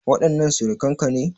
Waɗannan surukan ka ne?